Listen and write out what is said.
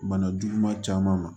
Bana juguman caman ma